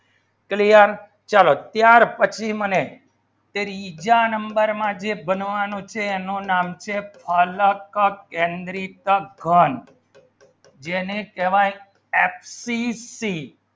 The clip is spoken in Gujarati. ચાર ચલો ચાર પછી મને બીજા number ના જે બનવાનું છે એનો નામ છે અલખ કેન્દ્રીત ઘણ જેને કહેવાય axis c